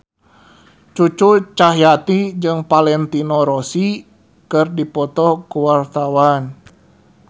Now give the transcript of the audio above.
Cucu Cahyati jeung Valentino Rossi keur dipoto ku wartawan